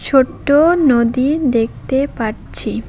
ছোট্ট নদী দেখতে পারছি।